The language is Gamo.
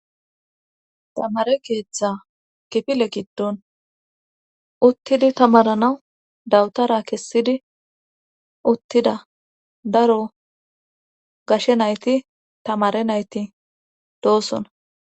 tamare keeththa kifile giddon uttidi tamaranawu dawutara kessidi uttida daro gashe nayti tamare nayti doosona